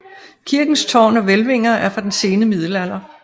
Kirkens tårn og hvælvinger er fra den sene middelalder